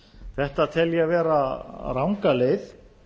þetta tel ég vera ranga leið